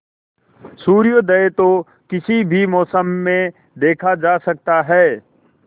सूर्योदय तो किसी भी मौसम में देखा जा सकता है